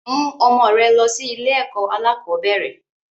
Mú ọmọ rẹ lọ sí ilé ẹ̀kọ́ alakọ̀bẹ́ẹ́rẹ̀!